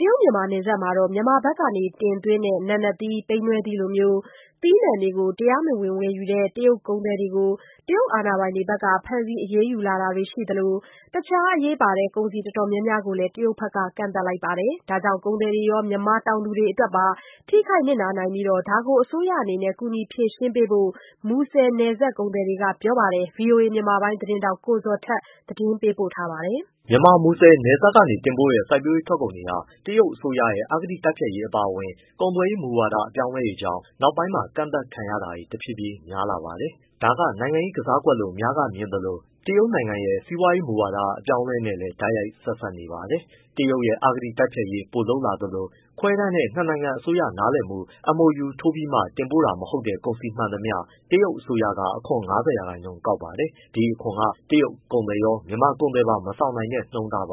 တရုတ်-မြန်မာနယ်စပ်မှာ မြန်မာဖက်က တင်သွင်းတဲ့ နာနတ်သီး၊ ပိန္နဲသီးတွေလို သီးနှံတွေ တရားမဝင်ဝယ်ယူတဲ့ တရုတ်ကုန်သည်တွေကို တရုတ်အာဏာပိုင်တွေဖက် ဖမ်းဆီးအရေးယူလာတာတွေရှိသလို၊ အခြားအရေးပါတဲ့ ကုန်စည်အတော်များများကိုလည်း တရုတ်ဖက်က ကန့်သတ်လိုက်ပါတယ်။ ဒါကြောင့် ကုန်သည်တွေရော မြန်မာတောင်သူတွေအတွက်ပါ ထိခိုက်နစ်နာနိုင်ပြီး၊ ဒါကို အစိုးရအနေနဲ့ ကူညီဖြေရှင်းပေးဖို့ မူဆယ်နယ်စပ်ကုန်သည်တွေက ပြောပါတယ်။ ဗွီအိုအေမြန်မာပိုင်းသတင်းထောက် ကိုဇော်ထက် မေးမြန်းပေးပို့ထားပါတယ်။ မြန်မာ မူဆယ်နယ်စပ်ကနေတင်ပို့တဲ့ စိုက်ပျိုးရေးထွက်ကုန်တွေဟာ တရုတ်ရဲ့ အစိုးရရဲ့ အဂတိတိုက်ဖျက်ရေးအပါအဝင်၊ ကုန်သွယ်ရေးမူဝါဒ အပြောင်းအလဲတွေကြောင့် နောက်ပိုင်းမှာ ကန့်သတ်ခံရတွေ တဖြည်းဖြည်းများလာပါတယ်။ ဒါကနိုင်ငံရေး ကစားကွက်လို့အများစုကမြင်သလို တရုတ်နိုင်ငံရဲ့ စီးပွားရေးမူဝါဒ အပြောင်းအလဲနဲ့လည်း တိုက်ရိုက်ဆက်စပ်နေပါတယ်။ တရုတ်ရဲ့ အဂတိ တိုက်ဖျက်ရေး ပိုလုပ်လာသလို၊ ခွဲတမ်းနဲ့နှစ်နိုင်ငံအစိုးရ နားလည်မှု MoU ထိုးပြီးတင်ပို့တာမဟုတ်တဲ့ ကုန်စည်မှန်သမျှ တရုတ်က အခွန် ၅၀%ကောက်ပါတယ်။ ဒီအခွန်က တရုတ်ကုန်သည်ရော၊ မြန်မာကုန်သည်ပါ မဆောင်နိုင်တဲ့နှုန်းပါ။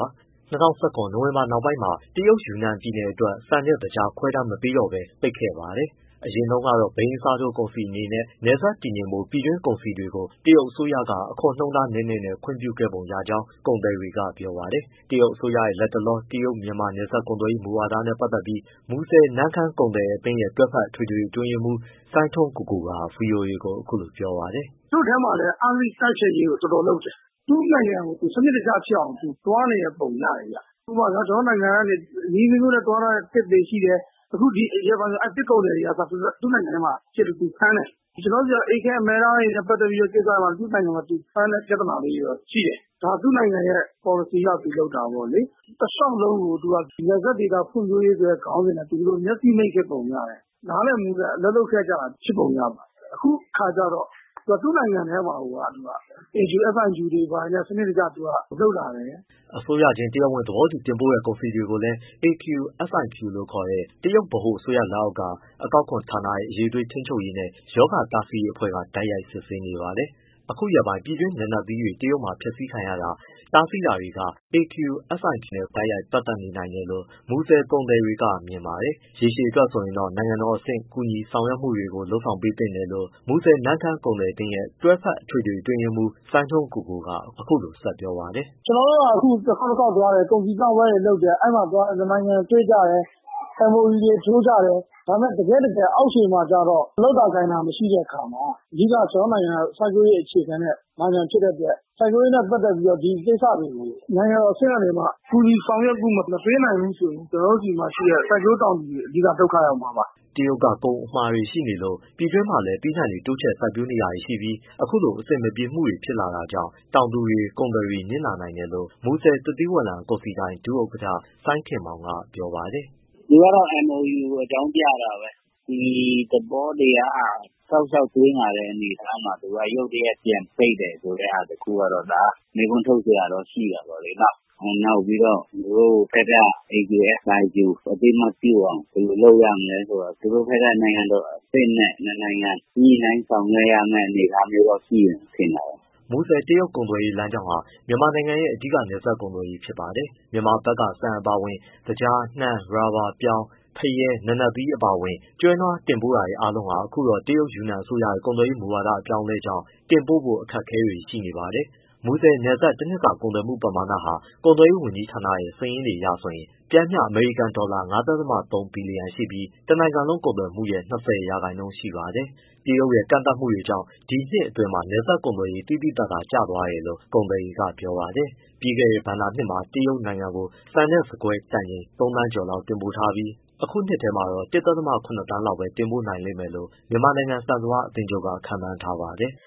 ၂၀၁၇ နိုဝင်ဘာနောက်ပိုင်းမှာ တရုတ်၊ ယူနန်ပြည်နယ်အတွက် ဆန်နဲ့သကြား ခွဲတမ်းမပေးတော့ဘဲပိတ်ခဲ့ပါတယ်။ အရင်တုန်းကတော့ ဘိန်းအစားထိုးကုန်စည်အနေနဲ့ နယ်စပ်တည်ငြိမ်ဖို့ ပြည်တွင်းကုန်စည်တွေကို တရုတ်အစိုးရက အခွန်နှုန်းနည်းနည်းနဲ့ ခွင့်ပြုခဲ့ပုံရကြောင်း ကုန်သည်တွေက ပြောပါတယ်။ တရုတ်အစိုးရရဲ့ လက်တလော တရုတ်-မြန်မာနယ်စပ်ကုန်သွယ်ရေး မူဝါဒနဲ့ ပတ်သက်ပြီး မူဆယ်-နမ့်ခမ်းကုန်သည်အသင်းရဲ့ တွဲဖက်အထွေထွေအတွင်းရေးမှူး စိုင်းထွန်းကိုကိုက ဗွီအိုအေကို အခုလိုပြောပါတယ်။ “ သူ့ထဲမှာလည်း အဂတိတိုက်ဖျက်ရေးကို တော်တော်လုပ်တယ်။ သူ့နိုင်ငံကိုသူ စနစ်တကျဖြစ်အောင် သူသွားနေတဲ့ပုံရတယ်ဗျ။ ဥပမာ ကျနော်တို့နိုင်ငံက နည်းအမျိုးမျိုးနဲ့သွားနေတဲ့သစ်တွေရှိတယ် အခုရက်ပိုင်းဒီသစ်ကုန်သည်တွေကအစ သူ့နိုင်ငံထဲမှာဖမ်းတယ်။ ကျနော်တို့နိုင်ငံက အေးခဲအမဲသားတွေနဲ့ ပတ်သက်တဲ့ကိစ္စမှာ သူ့နိုင်ငံမှာဖမ်းတဲ့ပြဿနာလေးတွေတော့ရှိတယ်။ ဒါသူ့နိုင်ငံရဲ့ ပေါ်လစီအရသူလုပ်တာပေါ့လေ။ တလျှောက်လုံးကိုသူက နပ်စပ်ဒေသ ဖွံ့ဖြိုးရေးဆိုတဲ့ခေါင်းစဉ်နဲ့ မျက်စိမှိတ်ခဲ့ပုံရတယ်။ နားလည်မှုနဲ့ အလုပ်လုပ်ခဲ့ကြတာ ဖြစ်ပုံရပါတယ်။ အခုကျတော့ သူ့နိုင်ငံထဲမှာကိုယ်က AQSIQ တွေ ဘာတွေနဲ့သူကစနစ်တကျလုပ်လာတယ်။” အစိုးရချင်းတရားဝင် သဘောတူတင်ပို့တဲ့ ကုန်စည်တွေကိုလည်း AQSIQ လို့ခေါ်တဲ့ တရုတ်ဗဟိုအစိုးရလက်အောက် အကောက်ခွန်ဌာနရဲ့ အရည်အသွေး ထိန်းချုပ်ရေးနဲ့ ရောဂါတားဆီးရေးအဖွဲ့ကတိုက်ရိုက် စစ်ဆေးနေပါတယ်။ အခုရက်ပိုင်း ပြည်တွင်းနာနတ်သီးတွေ တရုတ်မှာ ဖျက်ဆီးခံရတာ၊ တားဆီးတာတွေက AQSIQ နဲ့တိုက်ရိုက်ပတ်သက်နိုင်တယ်လို့ မူဆယ်ကုန်သည် တွေကမြင်ပါတယ်။ ရေရှည်အတွက်ဆိုရင်တော့ နိုင်ငံတော်အဆင့်ကူညီဆောင်ရွက်မှုတွေလုပ်ပေးသင့်တယ်လို့ မူဆယ်-နမ့်ခမ်းကုန်သည်အသင်းရဲ့ တွဲဖက်အထွေထွေအတွင်းရေးမှူး စိုင်းထွန်းကိုကိုက အခုလိုဆက်ပြောပါတယ်။ “ ကျနော်တို့က တခေါက်တခေါက်သွားတယ်၊ ကုန်စည်ပြပွဲတွေလုပ်တယ်၊ အဲဒီမှာနှစ်နိုင်ငံတွေ့ကြတယ် MoU တွေ ထိုးကြတယ်။ ဒါပေမဲ့ တကယ့်တကယ် အောက်ခြေမှာကျတော့ လုပ်တာကိုင်တာ မရှိတဲ့အခါမှာ အဓိကကျနော်တို့နိုင်ငံက စိုက်ပျိုးရေးနိုင်ငံဖြစ်တဲ့အတွက် စိုက်ပျိုးရေးနဲ့ ပတ်သက်ပြီးဒီကိစ္စတွေကို နိုင်ငံတော်အဆင့်ကနေပြီးတော့ ကူညီဆောင်ရွက်မှုမပေးနိုင်ဘူးဆိုရင် ကျနော်တို့ဆီမှာရှိတဲ့ စိုက်ပျိုုးတောင်သူတွေ အဓိကဒုက္ခရောက်မှာပါ။” တရုတ်က ကုန်အမှာတွေရှိနေလ့ို ပြည်တွင်းမှာလည်း သီးနှံတွေ တိုးချဲ့စိုက်နေကြပြီးမှ အခုလိုအဆင်မပြေမှုတွေ ဖြစ်လာတာကြောင့် တောင်သူတွေ၊ ကုန်သည်တွေနစ်နာနိုင်တယ်လို့ မူဆယ် သစ်သီးဝလံကုန်စည်ဒိုင် ဒုဥက္ကဋ္ဌ စိုင်းခင်မောင်က ပြောပါတယ်။ “ သူက တော့ MoU ကိုအကြောင်းပြတာပဲ ဒီသဘောတရားက တောက်လျှောက်သွားလာတဲ့အနေအထားမျိုးမှာ ရုတ်တရက်ပြန်ပိတ်မယ် ဆိုတဲ့ဟာတခုကတော့ မေးခွန်းထုတ်စရာတော့ရှိပေါ့လေနော်။ နောက်ပြီးတော့သူတို့ဘက်က AQSIQ အသိအမှတ်ပြုအောင် ဘယ်လိုလုပ်ရမလဲဆိုတော့ သူတို့ဘက်က နိုင်ငံတော်အဆင့်နဲ့ နှစ်နိုင်ငံညှိနှိုင်းဆောင်ရွက်ရမယ့် အနေအထားမျိုးရှိမှ ထင်တာပဲ။” မူဆယ်-တရုတ်ကုန်သွယ်ရေးလမ်းကြောင်းဟာ မြန်မာနိုင်ငံရဲ့ အဓိက နယ်စပ် ကုန်သွယ်ရေးဖြစ်ပါတယ်။ မြန်မာဘက်က ဆန်အပါအဝင် သကြား၊ နှမ်း၊ ရော်ဘာ၊ ပြောင်း၊ သကြား၊ ဖရဲ၊ နာနတ်သီးအပါအဝင် ကျွဲနွားတင်ပို့မှုအားလုံးဟာ အခုတော့ တရုတ် ယူနန်အစိုးရ ကုန်သွယ်ရေး မူဝါဒအပြောင်းအလဲကြောင့် တင်ပို့ဖို့ အခက်အခဲတွေရှိနေပါတယ်။ မူဆယ်နယ်စပ် တနှစ်စာကုန်သွယ်မှုပမာဏဟာ ကုန်သွယ်ရေးဝန်ကြီးဌာနရဲ့စာရင်းအရဆိုရင် ပျမ်းမျှ အမေရိကန်ဒေါ်လာ ၅.၃ ဘီလီယံရှိပြီး တနိုင်ငံလုံးကုန်သွယ်မှုပမာဏရဲ့ ၂၀ရာခိုင်နှုန်းရှိပါတယ်။ တရုတ်ရဲ့ ကန့်သတ်မှုတွေကြောင့် ဒီနှစ်အတွင်းမှာ နယ်စပ်ကုန်သွယ်ရေး သိသိသာသာကျသွား တယ်လို့ကုန်သည်တွေကပြောပါတယ်။ ပြီးခဲ့တဲ့ ဘဏ္ဍာနှစ်မှာ တရုတ်ကို ဆန်နဲ့ဆန်ကွဲ တန်ချိန် သုံးသန်းကျော်လောက်တင်ပို့ထားပေမဲ့ အခုနှစ်ထဲတော့ ၁.၇ သန်းလောက်ပဲတင်ပို့နိုင်မယ်လို့ မြန်မာနိုင်ငံ ဆန်စပါးအသင်းချုပ်က ခန့်မှန်းထားပါတယ်။